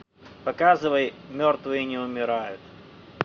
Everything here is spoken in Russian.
показывай мертвые не умирают